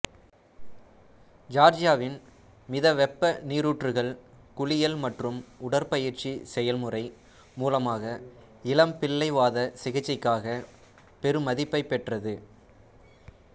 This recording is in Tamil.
ஜியார்ஜியாவின் மித வெப்ப நீரூற்றுகள் குளியல் மற்றும் உடற்பயிற்சி செயல்முறை மூலமாக இளம்பிள்ளை வாத சிகிச்சைக்காக பெருமதிப்பைப் பெற்றது